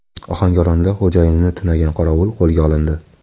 Ohangaronda xo‘jayinini tunagan qorovul qo‘lga olindi.